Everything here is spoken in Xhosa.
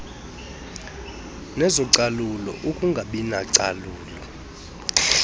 nezocalulo ukungabi nacalulo